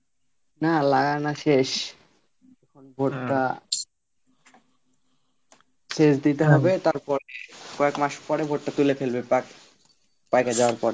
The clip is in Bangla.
না লাগানো শেষ, এখন শেষ দিতে হবে তার পরে কয়েক মাস পরে ভুট্টা তুলে ফেলবে পেকে যাওয়ার পরে